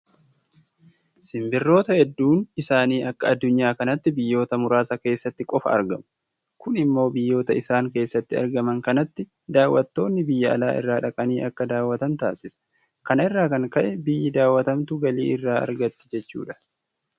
Simbirroota hedduun isaanii akka addunyaa kanaatti biyyoota muraasa keessatti qofa argamu. Kun immoo biyyoota isaan keessatti argaman kanatti daawwattoonni biyya alaa irraa dhaqanii akka daawwatan taasisa. Kana irraa kan ka'e biyyi daawwatamtu galii irraa argatti jechuudha.